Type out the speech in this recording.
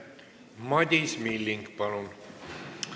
Madis Milling, palun!